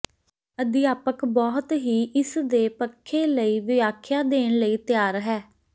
ਅਧਿਆਪਕ ਬਹੁਤ ਹੀ ਇਸ ਦੇ ਪੱਖੇ ਲਈ ਵਿਆਖਿਆ ਦੇਣ ਲਈ ਤਿਆਰ ਹੈ